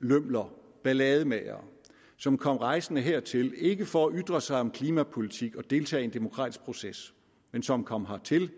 lømler ballademagere som kom rejsende hertil ikke for at ytre sig om klimapolitik og deltage i en demokratisk proces men som kom hertil